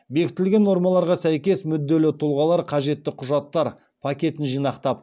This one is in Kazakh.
бекітілген нормаларға сәйкес мүдделі тұлғалар қажетті құжаттар пакетін жинақтап